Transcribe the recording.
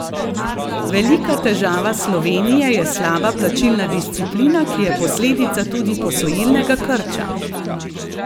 Velika težava Slovenije je slaba plačilna disciplina, ki je posledica tudi posojilnega krča.